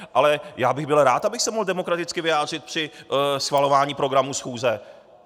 Ale já bych byl rád, abych se mohl demokraticky vyjádřit při schvalování programu schůze.